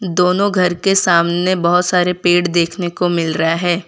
दोनों घर के सामने बहोत सारे पेड़ देखने को मिल रहा है।